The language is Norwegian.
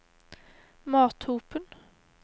Mathopen